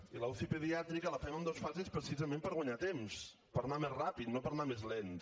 i la uci pediàtrica la fem en dues fases precisament per guanyar temps per anar més ràpid no per anar més lents